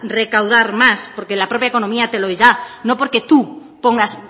recaudar más porque la propia economía te lo da no porque tú pongas